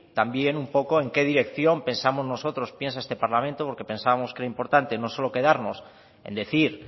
también un poco en qué dirección pensamos nosotros piensa este parlamento porque pensábamos que era importante no solo quedarnos en decir